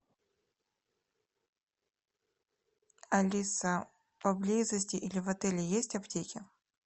алиса поблизости или в отеле есть аптеки